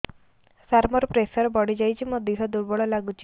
ସାର ମୋର ପ୍ରେସର ବଢ଼ିଯାଇଛି ମୋ ଦିହ ଦୁର୍ବଳ ଲାଗୁଚି